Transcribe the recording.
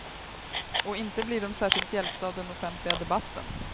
Och inte blir de särskilt hjälpta av den offentliga debatten.